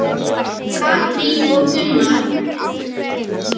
Katrín og Gunnar.